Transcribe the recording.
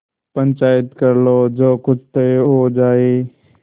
पंचायत कर लो जो कुछ तय हो जाय